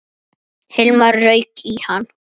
Hilmar rauk í hann.